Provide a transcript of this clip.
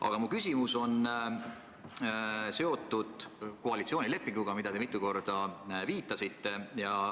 Aga mu küsimus on seotud koalitsioonilepinguga, millele te mitu korda viitasite.